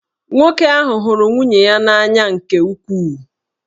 Nwoke ahụ hụrụ nwunye ya n'anya nke ukwuu